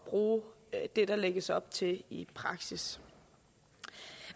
bruge det der lægges op til i praksis